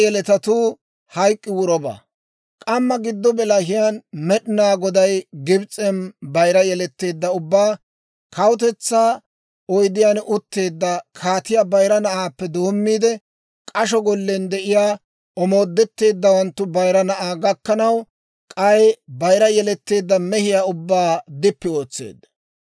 K'amma giddo bilahiyaan Med'inaa Goday Gibs'en bayira yeletteedda ubbaa, kawutetsaa oydiyaan utteedda kaatiyaa bayira na'aappe doommiide, k'asho gollen de'iyaa omoodetteeddawanttu bayira na'aa gakkanaw, k'ay bayira yeletteedda mehiyaa ubbaa dippi ootseedda.